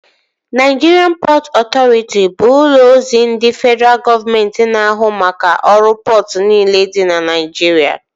Naịjirịan Pọtụ Ọtọriti bụ ụlọ ozi ndị fedraa gọọmenti na ahụ maka ọrụ pọtụ niile dị na Naịjirịa